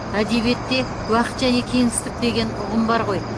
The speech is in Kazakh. әдебиетте уақыт және кеңістік деген ұғым бар ғой